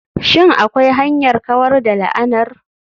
Shin akwai hanyar kawar da la'anar?